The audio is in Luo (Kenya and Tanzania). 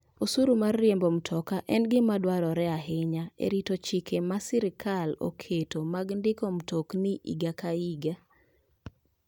Osuru mar riembo mtoka en gima dwarore ahinya e rito chike ma sirkal oketo mag ndiko mtokni higa ka higa.